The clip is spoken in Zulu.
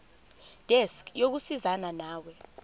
desk yokusizana nawe